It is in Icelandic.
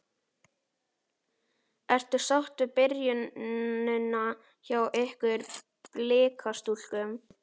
Ertu sátt við byrjunina hjá ykkur Blikastúlkum?